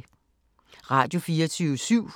Radio24syv